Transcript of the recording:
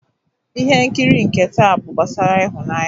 Ihe nkiri nke taa bụ gbasara ịhụnanya.